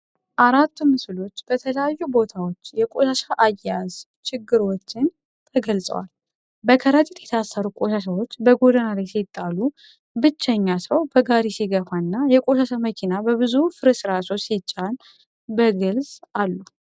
አራቱ ምስሎች በተለያዩ ቦታዎች የቆሻሻ አያያዝ ችግሮችን ተገልጸዋል። በከረጢት የታሰሩ ቆሻሻዎች በጎዳና ላይ ሲጣሉ፣ ብቸኛ ሰው በጋሪ ሲገፋ፣ እና የቆሻሻ መኪና በብዙ ፍርስራሾች ሲጫን በግልፅ አሉ።